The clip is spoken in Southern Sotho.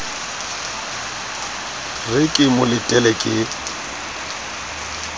re ke mo letele ke